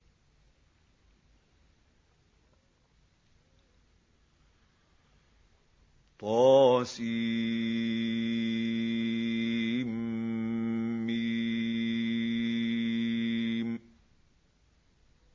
طسم